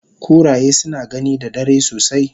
Kuraye suna gani da dare sosai